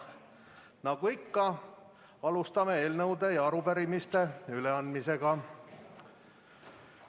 Nagu ikka, alustame eelnõude ja arupärimiste üleandmisega.